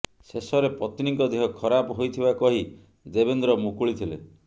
ଶେଷରେ ପତ୍ନୀଙ୍କ ଦେହ ଖରାପ ହୋଇଥିବା କହି ଦେବେନ୍ଦ୍ର ମୁକୁଳିଥିଲେ